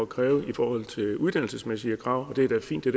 kræve i forhold til de uddannelsesmæssige krav det er da fint det